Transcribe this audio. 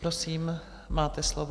Prosím, máte slovo.